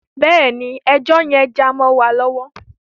Bẹ́ẹ̀ ni, ẹjọ́ yẹn já mọ́ wa lọ́wọ́.